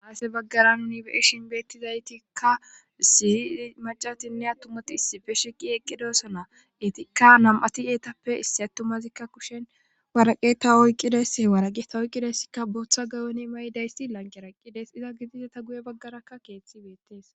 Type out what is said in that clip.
Ase baggaran nibeishinbeettizaytikka sihi macatinne attumati issife sheqi eqqidosana itikka nam7ati eetappe issi attumazikka kushen waraqeta oyqqides h waraqeta oyqqidayssikka booththa gayone ma'y daysti lanqeraqqides iza gidise ta guye baggarakka keeththi beettees.